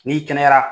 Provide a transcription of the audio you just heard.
N'i kɛnɛyara